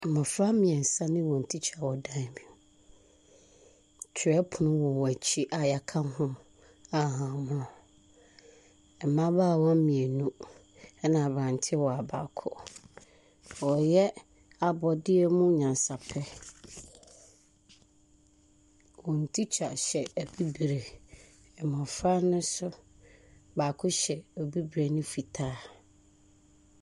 Mmofra mmiɛnsa ne wɔn tikya wɔ dan bi mu. Twerɛpono wɔ wɔn akyi a yɛaka ho ahahammono. Mmaabawa mmienu ɛna aberantewa baako. Wɔyɛ abɔdeɛmu nyansapɛ. Wɔn tikya hyɛ abibire. Mmofra no so baako hyɛ abibire ne fitaa.